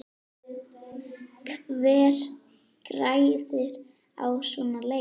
Hver græðir á svona leik?